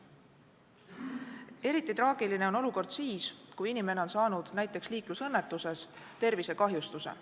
Eriti traagiline on olukord siis, kui inimene on saanud näiteks liiklusõnnetuses tervisekahjustuse.